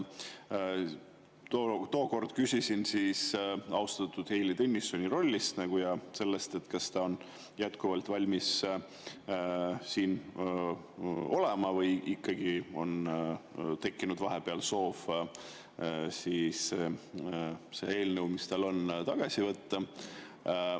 Tookord küsisin austatud Heili Tõnissoni rolli kohta ja selle kohta, kas ta on jätkuvalt valmis siin olema või on ikkagi tekkinud vahepeal soov see eelnõu, mis tal on, tagasi võtta.